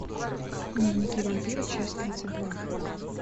дневники вампира часть тридцать два